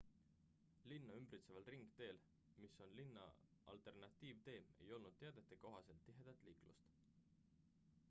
linna ümbritseval ringteel mis on linna alternatiivtee ei olnud teadete kohaselt tihedat liiklust